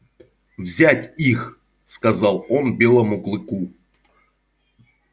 взять их сказал он белому клыку